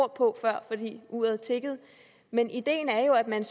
ord på før fordi uret tikkede men ideen er jo at man